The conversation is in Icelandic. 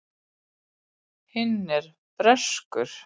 Hinn er breskur.